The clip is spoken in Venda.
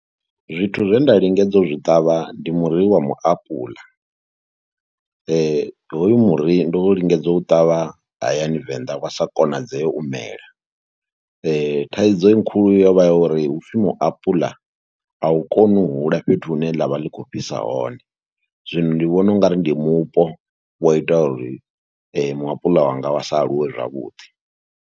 Zwithu zwe nda lingedza u zwi ṱavha ndi muri wa muapuḽa, hoyu muri ndo lingedza u u ṱavha hayani Venḓa wa sa konadzee u mela. Thaidzo khulu yo vha ya uri hu pfhi muapuḽa a u koni u hula fhethu hune ḽa vha ḽi khou fhisa hone, zwino ndi vhona u nga ri ndi mupo wa ita uri muapuḽa wanga wa sa aluwe zwavhuḓi.